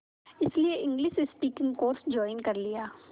इसलिए English speaking course join कर लिया